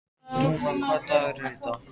Dúna, hvaða dagur er í dag?